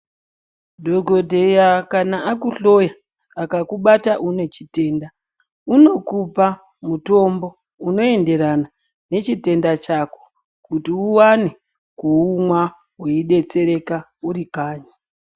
Dhokodheya kana akuhloya akakubata une chitenda unokupa mutombo unoenderana nechitenda chako kuti ukwane kuumwa weidetsereka uri kanyi.